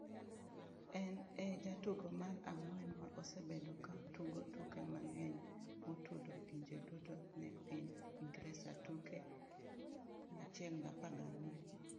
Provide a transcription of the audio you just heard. En e jatugo mar ang’wen ma osebedo ka tugo tuke mang’eny motudo pinje duto ne piny Ingresa, tuke 114.